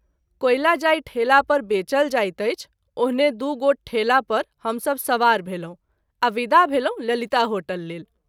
कोयला जाहि ठेला पर बेचल जाइत अछि ओहने दू गोट ठेला पर हम सभ सबार भेलहुँ आ विदा भेलहुँ ललिता होटल लेल।